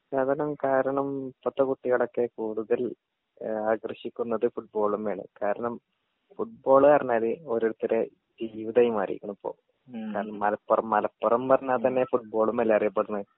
പശ്ചാത്തലം കാരണം ഇപ്പത്തെ കുട്ടികളൊക്കെ കൂടുതൽ ഏഹ് ആകർഷിക്കുന്നത് ഫുട്‍ബോളിമേ ആണ് കാരണം ഫുട്ബോൾ പറഞ്ഞാൽ ഓരോര്ത്തരെ ജീവിതായി മാറീക്കുണു ഇപ്പൊ മലപ്പുറം മലപ്പുറം പറഞ്ഞ തന്നെ ഫുട്ബാളിമേല്ലേ അറിയപ്പട്ണെ